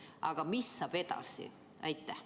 Aga mis saab edasi?